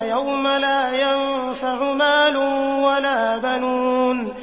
يَوْمَ لَا يَنفَعُ مَالٌ وَلَا بَنُونَ